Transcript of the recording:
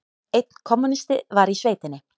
Einn kommúnisti var í sveitinni.